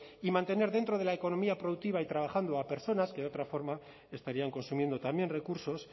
y mantener dentro de la economía productiva y trabajando a personas que de otra forma estarían consumiendo también recursos